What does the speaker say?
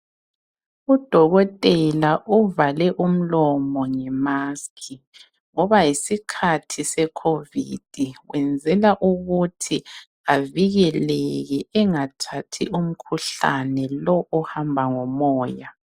Udokotela uvale umlomo ngemask ngoba yisikhathi se covid, kwenzela ukuthi avikeleke engathathi umkhuhlane lo ohamba ngomoya.